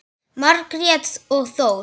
Margrét og Þór.